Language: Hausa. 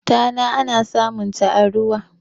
tana ana samunta a ruwa